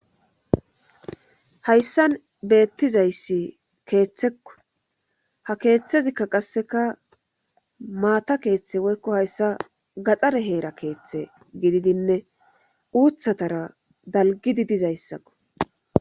hayssan beettizayssi keeththekko ha keeththezikka qasseka maata keeththe woykko hayssa gaxare heera keeththe gididinne uuthatara dalgidi dizayssakko